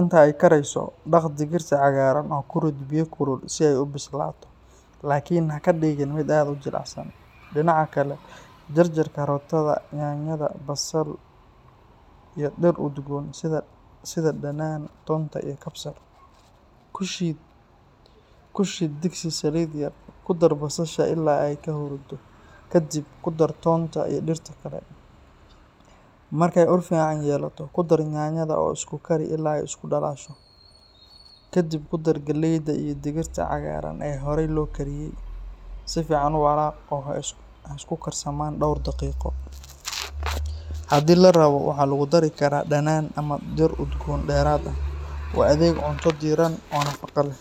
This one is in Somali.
Inta ay karayso, dhaq digirta cagaaran oo ku rid biyo kulul si ay u bislaato, laakiin ha ka dhigin mid aad u jilicsan. Dhinaca kale, jarjar karootada, yaanyada, basal iyo dhir udgoon sida dhanaan, toonta iyo kabsar. Ku shid digsi saliid yar, ku dar basasha ilaa ay ka huruuddo, kadib ku dar toonta iyo dhirta kale. Markay ur fiican yeelato, ku dar yaanyada oo isku kari ilaa ay isku dhalaasho. Kadib ku dar galleyda iyo digirta cagaaran ee horay loo kariyey. Si fiican u walaaq oo ha isku karsamaan dhowr daqiiqo. Haddii la rabo, waxaa lagu dari karaa dhanaan ama dhir udgoon dheeraad ah. U adeeg cunto diirran oo nafaqo leh.